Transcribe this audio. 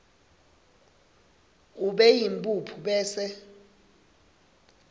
ube yimphuphu bese